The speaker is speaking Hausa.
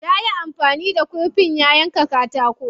Yayi amfani da kurfin ya yanka katako.